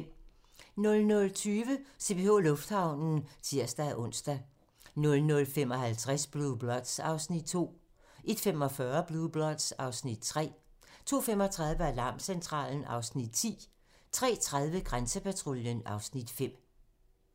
00:20: CPH Lufthavnen (tir-ons) 00:55: Blue Bloods (Afs. 2) 01:45: Blue Bloods (Afs. 3) 02:35: Alarmcentralen (Afs. 10) 03:30: Grænsepatruljen (Afs. 5)